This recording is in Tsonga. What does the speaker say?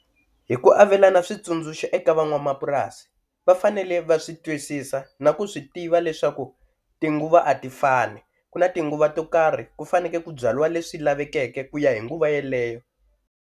Hi ku avelana switsundzuxo eka van'wamapurasi va fanele va swi twisisa na ku swi tiva leswaku tinguva a ti fani, ku na tinguva to karhi ku faneke ku byaliwa leswi lavekeke ku ya hi nguva yeleyo.